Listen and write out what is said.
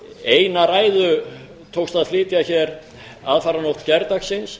eina ræðu tókst að flytja hér aðfaranótt gærdagsins